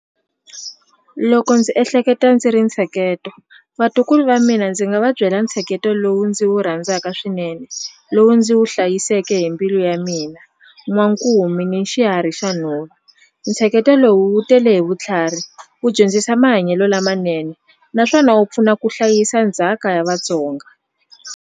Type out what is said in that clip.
Loko ndzi ehleketa ndzi ri ntsheketo vatukulu va mina ndzi nga va byela ntsheketo lowu ndzi wu rhandzaka swinene lowu ndzi wu hlayiseke hi mbilu ya mina n'wankumi ni xiharhi xa nhova ntsheketo lowu wu tele hi vutlhari wu dyondzisa mahanyelo lamanene naswona wu pfuna ku hlayisa ndzhaka ya Vatsonga.